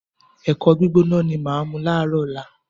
Ẹ̀kọ gbígbóná ni màá mu láàárọ̀ ọ̀la